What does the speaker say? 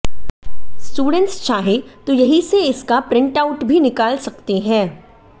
students चाहें तो यहीं से इसका प्रिंट आउट भी निकाल सकते हैं